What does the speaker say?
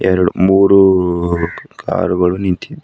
ಎರಡ್ ಮೂರು ಕಾರ್ ಗಳು ನಿಂತಿಂ--